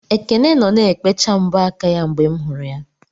Ekene nọ na-ekpecha mbọ aka ya mgbe m hụrụ ya.